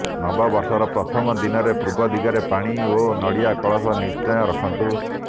ନବବର୍ଷର ପ୍ରଥମ ଦିନରେ ପୂର୍ବ ଦିଗରେ ପାଣି ଓ ନଡ଼ିଆ କଳସ ନିଶ୍ଚୟ ରଖନ୍ତୁ